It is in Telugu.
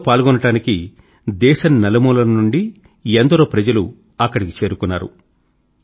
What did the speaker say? ఇందులో పాల్గోవడానికి దేశం నలుమూలల నుండి ఎందరో ప్రజలు అక్కడికి చేరుకున్నారు